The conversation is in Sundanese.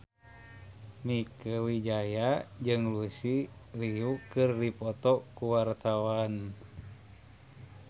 Mieke Wijaya jeung Lucy Liu keur dipoto ku wartawan